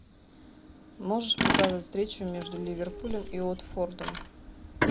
можешь показать встречу между ливерпулем и уотфордом